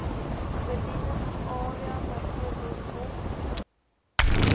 bedieningsarea bv pos